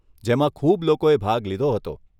જેમાં ખૂબ લોકોએ ભાગ લીધો હતો.